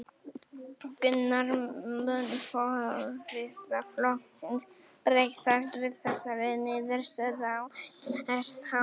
Gunnar: Mun forysta flokksins bregðast við þessari niðurstöðu á einhvern hátt?